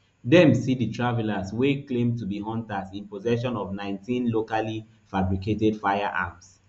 dem see di travellers wey claim to be hunters in possession of nineteen locally fabricated firearms